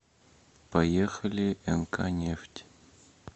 поехали нк нефть